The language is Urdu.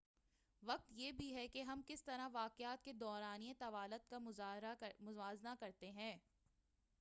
وقت یہ بھی ہے کہ ہم کس طرح واقعات کے دورانیے طوالت کا موازنہ کرتے ہیں۔